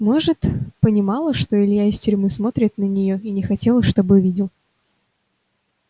может понимала что илья из тюрьмы смотрит на неё и не хотела чтобы видел